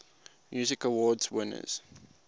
music awards winners